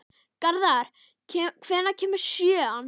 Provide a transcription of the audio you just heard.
Garðar, hvenær kemur sjöan?